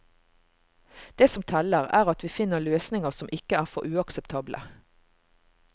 Det som teller, er at vi finner løsninger som ikke er for uakseptable.